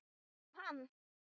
um hann.